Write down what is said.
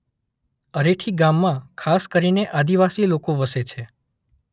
અરેઠી ગામમાં ખાસ કરીને આદિવાસી લોકો વસે છે.